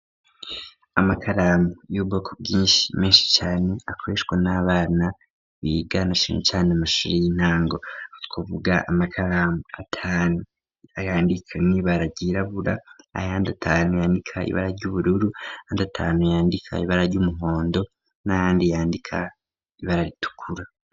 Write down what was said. Amakaramu y'ubugoko bwinshi menshi cyane akoreshwa n'abana biganashine cyane amashuri y'intango kuvuga amakaramu atanu ayandika nibaragirabura ayandi atanu yandika ibara ryubururu handi atanu yandika ibara ry'umuhondo n'ayandi yandika ibararitukura.